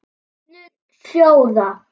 Stefnur sjóða